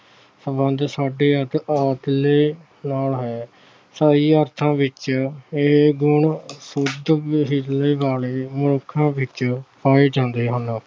ਸਬੰਧ ਸਾਡੇ ਨਾਲ ਹੈ। ਸਹੀ ਅਰਥਾਂ ਵਿੱਚ ਇਹ ਗੁਣ ਸ਼ੁੱਧ ਵਾਲੇ ਮਨੁੱਖਾਂ ਵਿੱਚ ਪਾਏ ਜਾਂਦੇ ਹਨ।